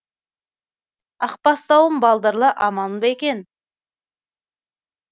ақ бастауым балдырлы аман ба екен